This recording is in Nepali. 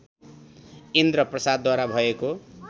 इन्द्र प्रसादद्वारा भएको